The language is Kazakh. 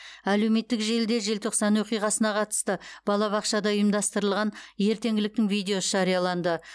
әлеуметтік желіде желтоқсан оқиғасына қатысты балабақшада ұйымдастырылған ертеңгіліктің видеосы жарияланды